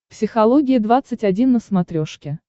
психология двадцать один на смотрешке